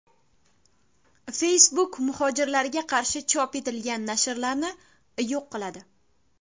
Facebook muhojirlarga qarshi chop etilgan nashrlarni yo‘q qiladi.